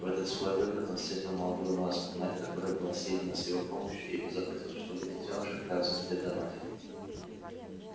в этот свой выход он встретил молодую ласку мать которой была съедена с его помощью и позаботился чтобы детёныш отправился вслед за матерью